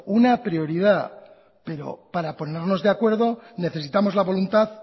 una prioridad pero para ponernos de acuerdo necesitamos la voluntad